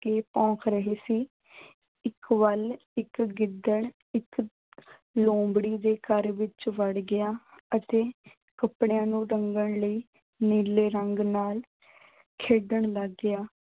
ਕੇ ਭੌਂਕ ਰਹੇ ਸੀ। ਇੱਕ ਵਾਰੀ ਇੱਕ ਗਿੱਦੜ ਇੱਕ ਲੂੰਬੜੀ ਦੇ ਘਰ ਵਿੱਚ ਵੜ ਗਿਆ ਅਤੇ ਕੱਪੜਿਆਂ ਨੂੰ ਰੰਗਨ ਲਈ ਨੀਲੇ ਰੰਗ ਨਾਲ ਖੇਡਣ ਲੱਗ ਗਿਆ।